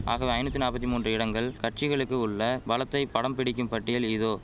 ஆகவே ஐநூத்தி நாப்பத்தி மூன்று இடங்கள் கட்சிகளுக்கு உள்ள பலத்தை படம் பிடிக்கும் பட்டியல் இதோ